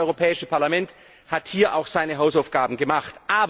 Aber das Europäische Parlament hat hier auch seine Hausaufgaben gemacht.